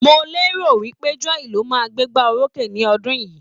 Mo lérò pé Joy ló máa gbégbá orókè ní ti ọdún yìí.